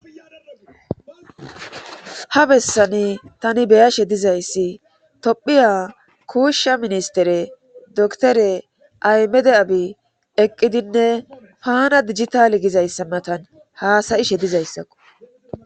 ha bessani tani beyashe dizayssi tophiya kuushsha ministere doktore aymede abi eqqidinne paana dijitale gizayssa matan haasayishe dizayssakko